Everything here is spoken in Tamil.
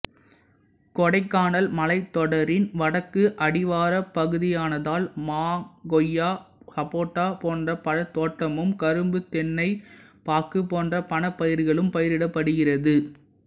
கொடைக்கானல் மலைத்தொடரின் வடக்கு அடிவாரப்பகுதியானதால் மா கொய்யா சப்போட்டா போன்ற பழத்தோட்டமும் கரும்பு தென்னை பாக்கு போன்ற பணப்பயிர்களும் பயிரிடப்படுகிறது